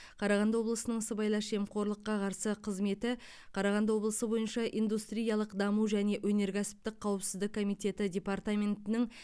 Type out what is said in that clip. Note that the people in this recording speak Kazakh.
қарағанды облысының сыбайлас жемқорлыққа қарсы қызметі қарағанды облысы бойынша индустриялық даму және өнеркәсіптік қауіпсіздік комитеті департаментінің